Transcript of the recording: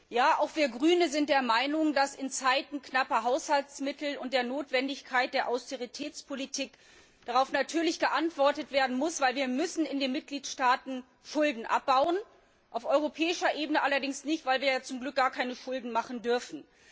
Ja, auch wir Grünen sind der Meinung, dass in Zeiten knapper Haushaltsmittel und der Notwendigkeit der Austeritätspolitik darauf geantwortet werden muss, weil wir in den Mitgliedstaaten Schulden abbauen müssen, auf europäischer Ebene allerdings nicht, weil wir ja zum Glück gar keine Schulden machen dürfen.